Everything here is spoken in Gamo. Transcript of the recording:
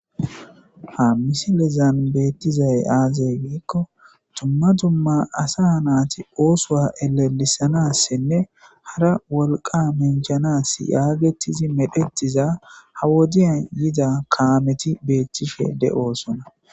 ha misilezan beettizay aazay giikko dumma dumma asa naati oosoa elelisanassinne hara wolqa menjanas yaagettizi medhettiza ha wodiya yida kaameti beettishe de'osona